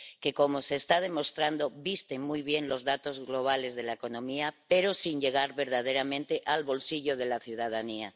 que, como se está demostrando, visten muy bien los datos globales de la economía pero sin llegar verdaderamente al bolsillo de la ciudadanía.